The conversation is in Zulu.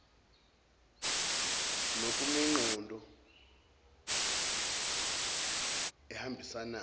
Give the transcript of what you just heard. n okunemiqondo ehambisanayo